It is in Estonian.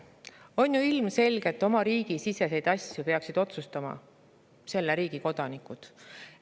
On ju ilmselge, et oma riigi siseseid asju peaksid otsustama selle riigi kodanikud.